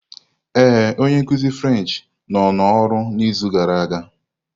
Ee, onye nkuzi French nọ n'ọrụ n'izu gara aga.